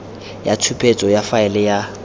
ya tshupetso ya faele ya